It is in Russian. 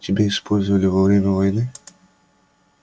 тебя использовали во время войны